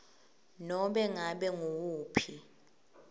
nobe ngabe nguwuphi